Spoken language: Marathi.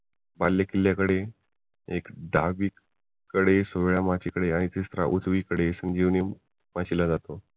बालेकिल्ल्याकडे एक दहा वीस कडे माचीकडे आणि उजवीकडे संजीवनी माची ला जातो